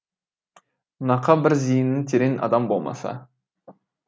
нақа бір зиыны терең адам болмаса